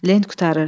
Lent qurtarır.